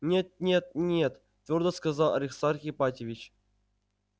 нет нет нет твёрдо сказал аристарх ипатьевич